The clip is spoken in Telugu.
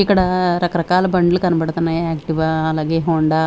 ఇక్కడ రకరకాల బండ్లు కనబడుతున్నాయి ఆక్టివా అలాగే హోండా .